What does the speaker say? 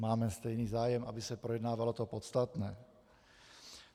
Máme stejný zájem, aby se projednávalo to podstatné.